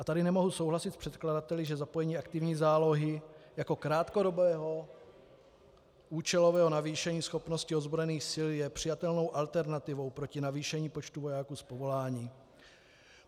A tady nemohu souhlasit s předkladateli, že zapojení aktivní zálohy jako krátkodobého účelového navýšení schopnosti ozbrojených sil je přijatelnou alternativou proti navýšení počtu vojáků z povolání.